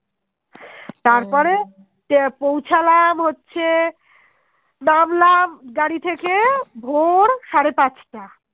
পৌছালাম হচ্ছে নামলাম গাড়ি থেকে ভোর সাড়ে পাঁচটা